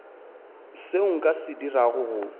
seo nka se dirago go